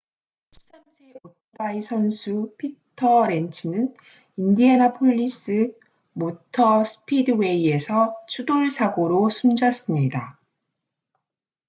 13세 오토바이 선수 피터 렌츠는 인디애나폴리스 모터 스피드웨이에서 추돌 사고로 숨졌습니다